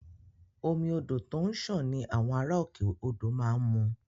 Omi odò tó ń sàn ni àwọn ará òkè odò má ń mu